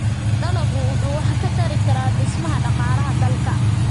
Dalaggu wuxuu wax ka tari karaa dhismaha dhaqaalaha dalka.